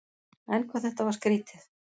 En hvað þetta var skrýtið.